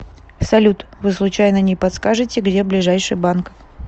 салют вы случайно не подскажите где ближайший банк